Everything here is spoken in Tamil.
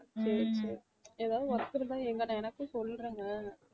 ஏதாவது work இருந்தா எங்கன~ எனக்கும் சொல்லுங்க என்ன